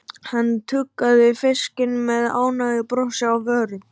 Hann tuggði fiskinn með ánægjubros á vörunum.